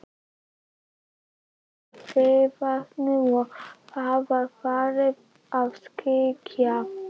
Dimmuborgum við Mývatn og þá var farið að skyggja.